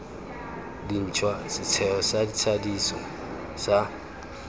dintšhwa setheo sa thadiso sa